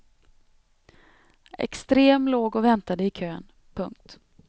Extrem låg och väntade i kön. punkt